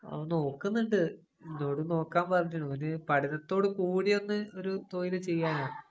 അവന്‍ നോക്കുന്നുണ്ട്. എന്നോടും നോക്കാന്‍ പറഞ്ഞിട്ടുണ്ട്. അവന് പഠിത്തത്തോട് കൂടിയൊന്നു ഒരു തൊഴില്‍ ചെയ്യാനാ.